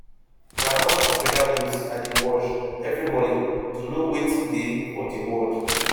na al jazeera news i dey watch every morning to know wetin dey for di world